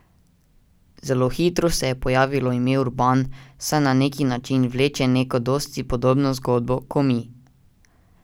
Zelo hitro se je pojavilo ime Urban, saj na neki način vleče neko dosti podobno zgodbo, ko mi.